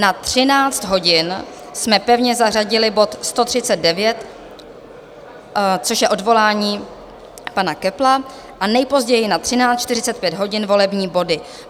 Na 13 hodin jsme pevně zařadili bod 139, což je odvolání pana Köppla, a nejpozději na 13.45 hodin volební body.